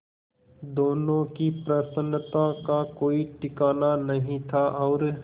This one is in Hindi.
दोनों की प्रसन्नता का कोई ठिकाना नहीं था और